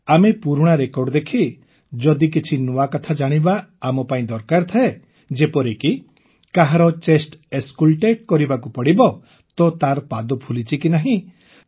ଆମେ ପୁରୁଣା ରେକର୍ଡ ଦେଖି ଯଦି କିଛି ନୂଆ କଥା ଜାଣିବା ଆମପାଇଁ ଦରକାର ଥାଏ ଯେପରିକି କାହାରି ଚେଷ୍ଟ ଅସ୍କଲଟେଟ୍ କରିବାକୁ ପଡ଼ିବ ତ ତାର ପାଦ ଫୁଲିଛି କି ନାହିଁ